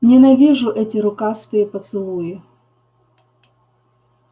ненавижу эти рукастые поцелуи